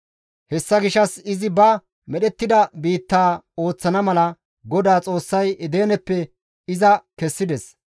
Hessa gishshas izi ba medhettida biittaa ooththana mala, GODAA Xoossay Edeneppe iza kessides.